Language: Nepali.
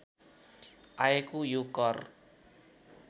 आएको यो कर